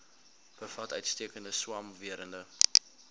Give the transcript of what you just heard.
bevat uitstekende swamwerende